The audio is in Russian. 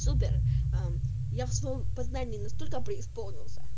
супер ээ я в своём познании настолько преисполнился